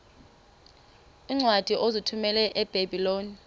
iincwadi ozithumela ebiblecor